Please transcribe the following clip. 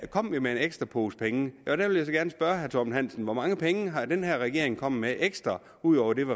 kom vi med en ekstra pose penge der vil jeg så gerne spørge herre torben hansen hvor mange penge er den her regering kommet med ekstra ud over dem